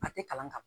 A tɛ kalan ka ban